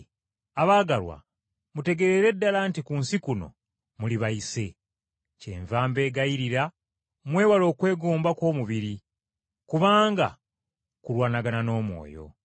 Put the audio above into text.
Abaagalwa, mutegeerere ddala nti ku nsi kuno muli bayise. Kyenva mbeegayirira mwewale okwegomba kw’omubiri, kubanga kulwanagana n’omwoyo.